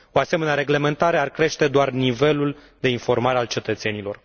O asemenea reglementare ar crește doar nivelul de informare a cetățenilor.